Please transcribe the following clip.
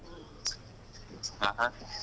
ಹಾ ಹಾ.